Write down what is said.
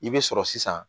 I bɛ sɔrɔ sisan